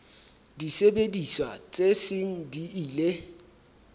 disebediswa tse seng di ile